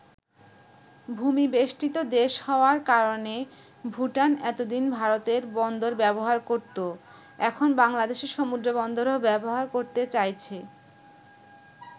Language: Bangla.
ভূমি-বেষ্টিত দেশ হওয়ার কারণে ভুটান এতদিন ভারতের বন্দর ব্যবহার করতো এখন বাংলাদেশের সমুদ্রবন্দরও ব্যবহার করতে চাইছে।